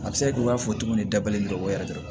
A bɛ se ka kɛ i y'a fɔ cogo min dabalen bɛ o yɛrɛ de kama